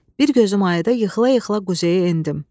Bir gözüm ayıda yıxıla-yıxıla quzeyə endim.